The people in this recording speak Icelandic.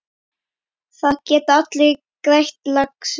Það geta allir grætt, lagsi.